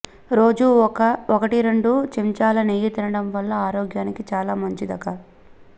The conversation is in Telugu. రోజూ ఒకటి రెండు చెంచాల నెయ్యి తినడం వల్ల ఆరోగ్యానికి చాలా మంచిది క